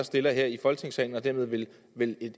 stiller her i folketingssalen og dermed ville